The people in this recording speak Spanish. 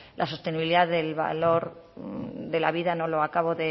la sostenibilidad del valor de la vida no lo acabo